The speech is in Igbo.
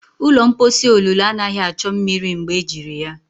Ụlọ mposi olulu anaghị achọ mmiri mgbe ejiri ya.